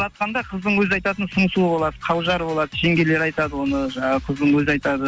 ұзатқанда қыздың өзі айтатын сыңсуы болады қаужар болады жеңгелер айтады оны жаңағы қыздың өзі айтады